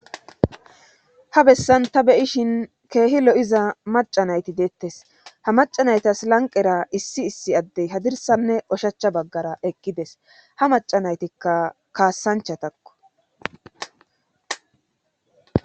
Ha bessan ta be7ishin keehi lo7iza macca nayti deettes;ha macca naytas lanqqera issi issi adey hadirssanne oshacha baggara eqqides;ha macca naytikka kaasanchatako.